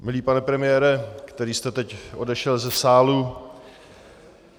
Milý pane premiére, který jste teď odešel ze sálu...